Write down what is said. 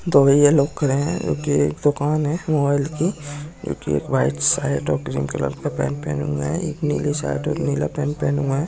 दो भैया लोग खड़े है जो कि एक दूकान है मोबाइल की जो कि एक व्हाइट शर्ट और क्रीम कलर का पैंट पहने हुए है एक नीली शर्ट और नीला पैंट पहने हुए है।